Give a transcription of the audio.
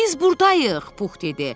Biz burdayıq, Pux dedi.